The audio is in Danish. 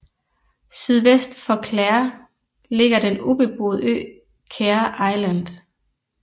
Sydvest for Clare ligger den ubeboede ø Caher Island